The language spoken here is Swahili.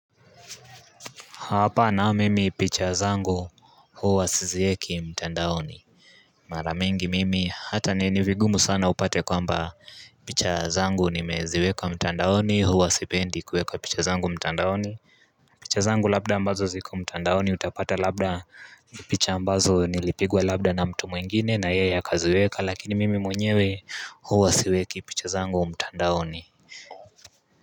Hapa nao mimi picha zangu huwa siziweki mtandaoni Mara mingi mimi hata ni vigumu sana upate kwamba picha zangu nimeziweka mtandaoni huwa sipendi kueka picha zangu mtandaoni picha zangu labda ambazo ziko mtandaoni utapata labda ni picha ambazo nilipigwa labda na mtu mwingine na yeye akaziweka lakini mimi mwenyewe huwa siweki picha zangu mtandaoni.